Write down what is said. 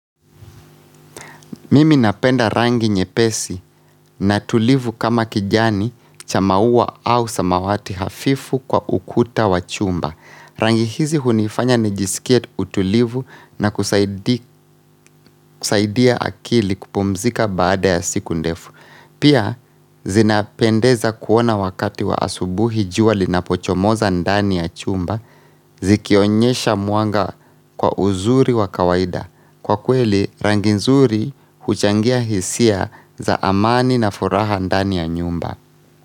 Mimi napenda rangi nyepesi na tulivu kama kijani cha maua au samawati hafifu kwa ukuta wa chumba. Rangi hizi hunifanya nijisikie utulivu na kusaidia akili kupumzika baada ya siku ndefu. Pia, zinapendeza kuona wakati wa asubuhi jua linapochomoza ndani ya chumba, zikionyesha mwanga kwa uzuri wa kawaida. Kwa kweli rangi nzuri huchangia hisia za amani na furaha ndani ya nyumba.